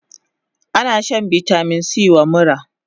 Ana shan vitamin C wa mura